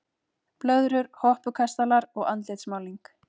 Blöðrur, hoppukastalar og andlitsmálning.